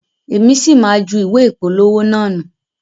Èmi sì má jù ìwé ìpolówó naa nu.